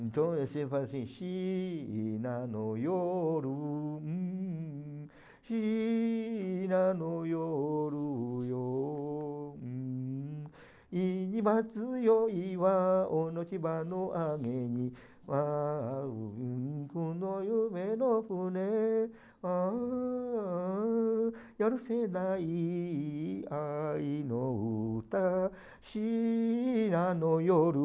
Então eu sempre falo assim,